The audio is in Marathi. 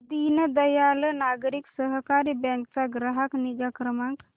दीनदयाल नागरी सहकारी बँक चा ग्राहक निगा क्रमांक